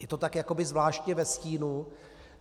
Je to tak jakoby zvláštně ve stínu.